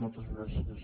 moltes gràcies